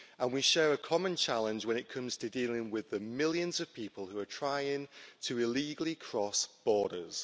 We share a common challenge when it comes to dealing with the millions of people who are trying to illegally cross borders.